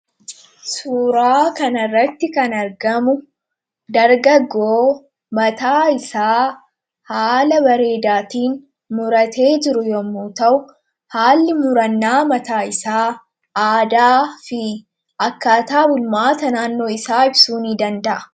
Suuraa kanarratti kan argamu dargaggoo mataa isaa haala bareedaatiin muratee jiru yommuu ta'u haalli murannaa mataa isaa aadaa fi akkaataa bulmaata naannoo isaa ibsuu ni danda'a.